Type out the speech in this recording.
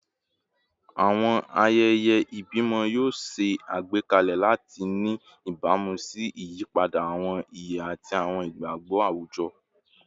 Awọn ayẹyẹ ibimọ yoo ṣe agbekalẹ lati ni ibamu si iyipada awọn iye ati awọn igbagbọ awujọ